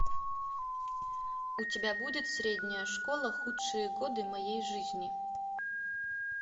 у тебя будет средняя школа худшие годы моей жизни